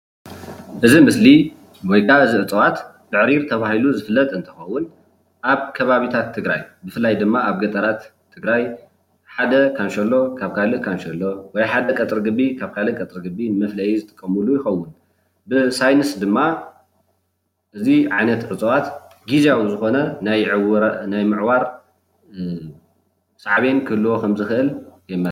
እዚ ምስሊ ወይከዓ እዚ እፅዋት ብዕሪር ተባሂሉ ዝፍለጥ እንትከውን ኣብ ከባቢታት ትግራይ ብፍላይ ድማ ኣብ ገጠራት ትግራይ ሓደ ካንሸሎ ካብ ካሊእ ካንሸሎ ወይ ሓደ ቀፅረ ግቢ ካብ ካሊእ ቀፅረ ግቢ ንመፍለይ ዝጥቀምሉ ይከውን። ብ ሳይንስ ድማ እዚ ዓይነት እፅዋት ግዝያዊ ዝኮነ ናይ ምዕዋር ሳዕቤን ክህልዎ ከም ዝክአል የመላክት።